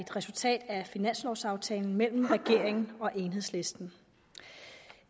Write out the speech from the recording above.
resultat af finanslovaftalen mellem regeringen og enhedslisten